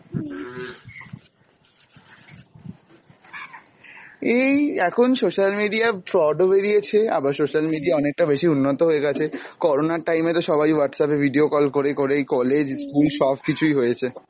এই এখন social media fraud ও বেরিয়েছে, আবার social media অনেকটা বেশি উন্নত হয়েগেছে, করোনার time এ তো সবাই Whatsapp এ video call করে করেই collage, school সব কিছুই হয়েছে।